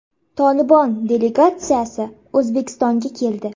“Tolibon” delegatsiyasi O‘zbekistonga keldi.